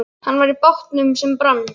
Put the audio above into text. Hann var í bátnum sem brann, sagði Heiða.